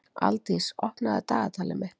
Aldís, opnaðu dagatalið mitt.